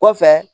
Kɔfɛ